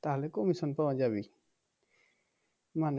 তাহলে commission পাওয়া যাবে মানে